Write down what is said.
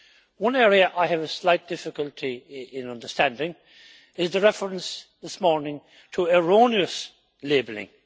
One area I have a slight difficulty in understanding is the reference this morning to erroneous labelling.